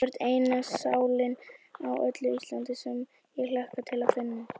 Þú ert eina sálin á öllu Íslandi, sem ég hlakka til að finna.